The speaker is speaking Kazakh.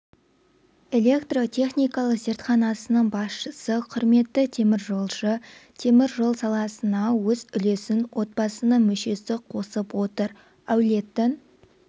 электротехникалық зертханасының басшысы құрметті теміржолшы темір жол саласына өз үлесін отбасының мүшесі қосып отыр әулеттің